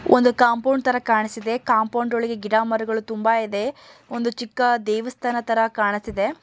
ಒಂದು ಕಾಂಪೌಂಡ್ ತರ ಕಾಣಿಸ್ತಿದೆ ಕಾಂಪೌಂಡ್ ಒಳಗೆ ಗಿಡ ಮರಗಳು ತುಂಬಾ ಇದೆ ಒಂದು ಚಿಕ್ಕ ದೇವಸ್ಥಾನ ತರ ಕಾಣತಿದೆ.